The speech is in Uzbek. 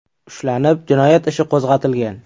ushlanib, jinoyat ishi qo‘zg‘atilgan.